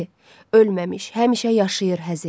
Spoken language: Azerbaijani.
Ölməmiş həmişə yaşayır Həzi.